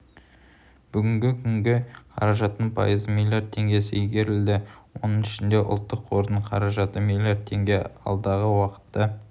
бүгінгі күні қаражаттың пайызы млрд теңгесі игерілді оның ішінде ұлттық қордың қаражаты млрд теңге алдағы уақытта